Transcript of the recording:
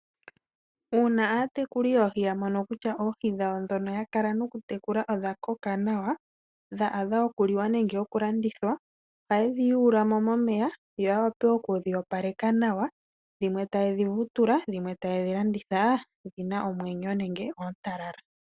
Uuna aatekuli yoohi ya mono kutya oohi dhawo ndhono ya kala noku tekula odha koka nawa dha adha okuliwa nenge oku landithwa, ohaye dhi yuulamo momeya yawape okudhi opaleka nawa dhimwe ta yedhi vutula nenge yedhi landithe nomwenyo nenge oontalala.